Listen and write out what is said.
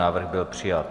Návrh byl přijat.